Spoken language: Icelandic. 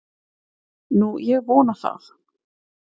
Nú, ég vona það.